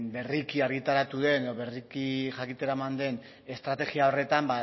berriki argitaratu den edo berriki jakitera eman den estrategia horretan